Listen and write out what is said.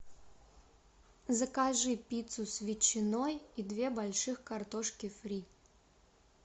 закажи пиццу с ветчиной и две больших картошки фри